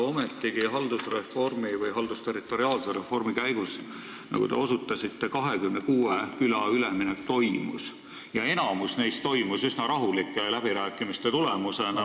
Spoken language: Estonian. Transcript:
Ometigi toimus haldusterritoriaalse reformi käigus, nagu te osutasite, 26 küla üleminek ja enamik neist üsna rahulike läbirääkimiste tulemusena.